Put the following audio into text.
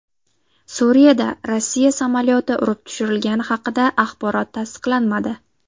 Suriyada Rossiya samolyoti urib tushirilgani haqidagi axborot tasdiqlanmadi.